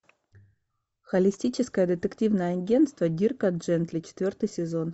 холистическое детективное агентство дирка джентли четвертый сезон